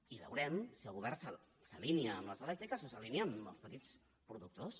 i veurem si el govern s’alinea amb les elèctriques o s’alinea amb els petits productors